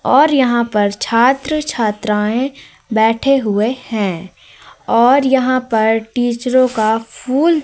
और यहां पर छात्र छात्राएं बैठे हुए हैं और यहां पर टीचरों का फूल--